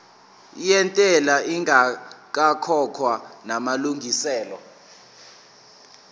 yentela ingakakhokhwa namalungiselo